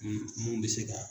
Mun mun bɛ se ka